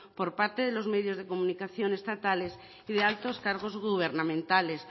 por parte de los medios de comunicación estatales y de altos cargos gubernamentales